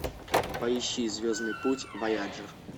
поищи звездный путь вояджер